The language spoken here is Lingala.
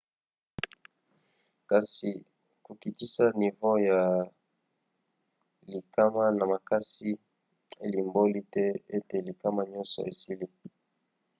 kasi kokitisa nivo ya likama na makasi elimboli te ete likama nyonso esili.